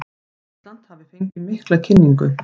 Ísland hafi fengið mikla kynningu